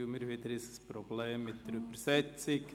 Wir haben wieder das bekannte Problem mit der Übersetzung.